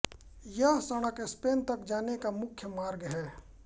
यह सड़क स्पेन तक जाने का मुख्य मार्ग है